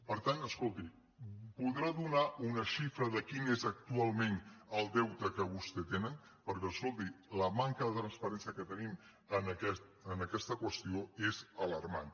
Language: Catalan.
per tant escolti podrà donar una xifra de quin és ac·tualment el deute que vostès tenen perquè escolti la manca de transparència que tenim en aquesta qüestió és alarmant